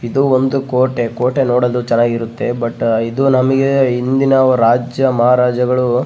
ಇದು ಒಂದು ಕೋಟೆ ಕೋಟೆ ನೋಡೊದು ಚೆನ್ನಾಗಿರುತ್ತೆ ಬಟ್ ಇದು ನಮ್ಗೆ ಹಿಂದಿನ ರಾಜ ಮಹಾರಾಜರುಗಳು --